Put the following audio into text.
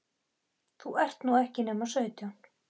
þú ert nú ekki nema sautján.